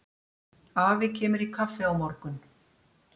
Afi kemur í kaffi á morgun.